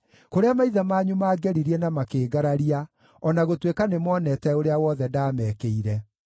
kũrĩa maithe manyu maangeririe na makĩngararia, o na gũtuĩka nĩmoonete ũrĩa wothe ndaamekĩire.